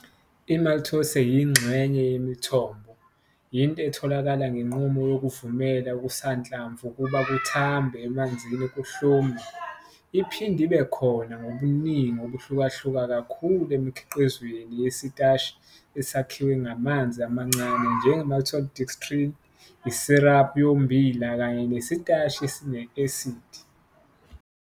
IMaltose yingxenye yemithombo, into etholakala ngenqubo yokuvumela okusanhlamvu ukuba kuthambe emanzini kuhlume. Iphinde ibe khona ngobuningi obuhlukahluka kakhulu emikhiqizweni yesitashi esakhiwe ngamanzi amancane njenge-maltodextrin, isiraphu yommbila kanye nesitashi esine-asidi.